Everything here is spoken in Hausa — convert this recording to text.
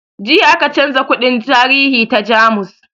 Jiya aka canza kundin tarihi ta jamus